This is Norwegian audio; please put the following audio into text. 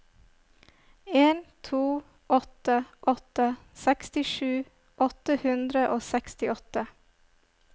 en to åtte åtte sekstisju åtte hundre og sekstiåtte